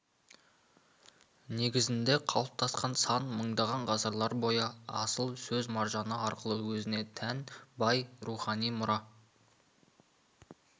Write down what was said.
негізінде қалыптасқан сан мыңдаған ғасырлар бойы асыл сөз маржаны арқылы өзіне тән бай рухани мұра